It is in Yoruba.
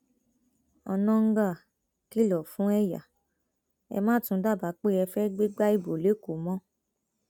onáńgá kìlọ fún ẹyà ẹ má tún dábàá pé ẹ fẹẹ gbégbá ibo lẹkọọ mọ